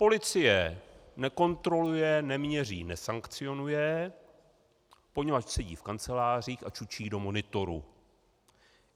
Policie nekontroluje, neměří, nesankcionuje, poněvadž sedí v kancelářích a čučí do monitorů.